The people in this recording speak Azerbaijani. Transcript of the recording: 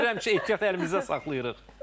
Çətir həmişə ehtiyat əlimizdə saxlayırıq.